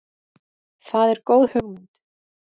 Það er góð hugmynd.